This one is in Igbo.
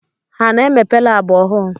Ha a na-emepe labụ ọhụụ